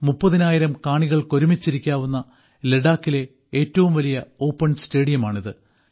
മുപ്പതിനായിരം കാണികൾക്ക് ഒരുമിച്ചിരിക്കാവുന്ന ലഡാക്കിലെ ഏറ്റവും വലിയ ഓപ്പൺ സ്റ്റേഡിയമാണിത്